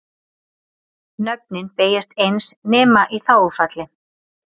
Nöfnin beygjast eins nema í þágufalli.